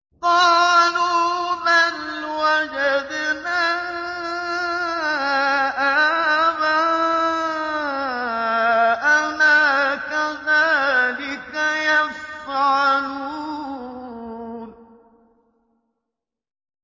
قَالُوا بَلْ وَجَدْنَا آبَاءَنَا كَذَٰلِكَ يَفْعَلُونَ